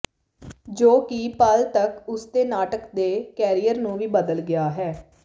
ਜੋ ਕਿ ਪਲ ਤੱਕ ਉਸ ਦੇ ਨਾਟਕ ਦੇ ਕੈਰੀਅਰ ਨੂੰ ਵੀ ਬਦਲ ਗਿਆ ਹੈ